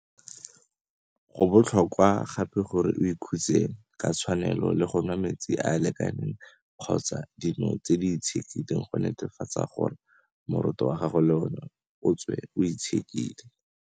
Go botlhokwa gape gore o ikhutse ka tshwanelo le go nwa metsi a a lekaneng kgotsa dino tse di itshekileng go netefatsa gore moroto wa gago le ona o tswe o itshekile.